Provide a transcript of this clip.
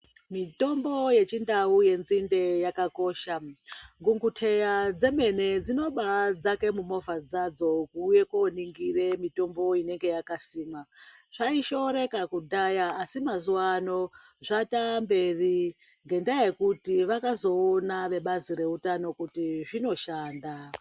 Mitombo yechindau yenzinde yakakosha gunguteya dzemene dzinobaidzaka mumovha dzadzo kuuye koningira mitombo inenge yakasimwa zvaishoreka kudhaya asi mazuvaano zvataamberi ngendaya yekuti vakazoona vebazi reutano kuti zvinoshanda.